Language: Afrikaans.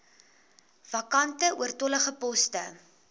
vakante oortollige poste